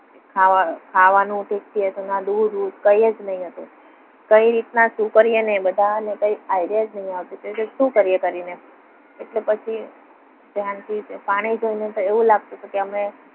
ખાવા ખાવાનું કે ભેંસોના દૂધ બુધ કંઈ જ નહીં હતું. કઈ રીતના શું કરીએ એને એ બધાને કહી idea જ નથી આવતો. શું કરીએ કરીને એટલે પછી ત્યાંથી તે પાણી જોઈને તો એવું લાગતું. કે અમે